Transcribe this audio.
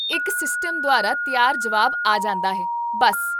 ਇੱਕ ਸਿਸਟਮ ਦੁਆਰਾ ਤਿਆਰ ਜਵਾਬ ਆ ਜਾਂਦਾ ਹੈ, ਬੱਸ